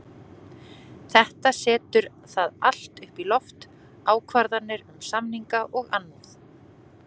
Þetta setur það allt upp í loft, ákvarðanir um samninga og annað.